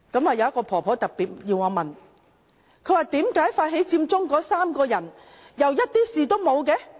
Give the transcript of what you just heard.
有一位婆婆特別要我提問，為何發起佔中那3個人卻又甚麼事也沒有？